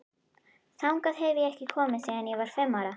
Þangað hef ég ekki komið síðan ég var fimm ára.